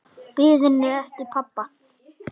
Biðin eftir pabba.